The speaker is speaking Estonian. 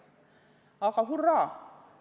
Aga – hurraa!